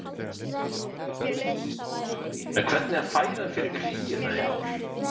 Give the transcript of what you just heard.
Hafþór Gunnarsson: En hvernig er fæðan fyrir kríuna í ár?